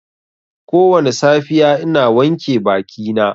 Kowane safiya ina wanke bakina.